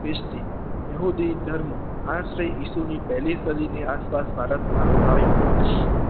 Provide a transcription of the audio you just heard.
ખ્રિસ્તી બેહુદી ધર્મો આથી પેહલી સદીની આસપાસ આવ્યા